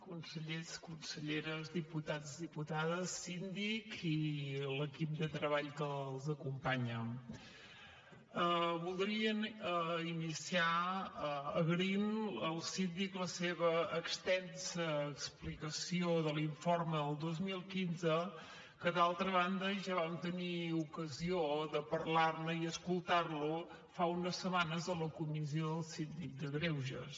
consellers conselleres diputats diputades síndic i l’equip de treball que l’acompanya voldríem iniciar agraint al síndic la seva extensa explicació de l’informe del dos mil quinze que d’altra banda ja vam tenir ocasió de parlar ne i escoltar lo fa unes setmanes a la comissió del síndic de greuges